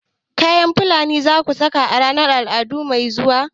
kayan fulani zamu saka a ranar al'adu mai zuwa